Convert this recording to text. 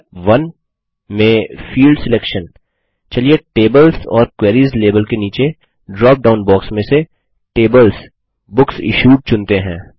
step 1 में field selection चलिए tables ओर क्वेरीज लेबल के नीचे ड्रॉप डाउन बॉक्स में से TablesBooksIssued चुनते हैं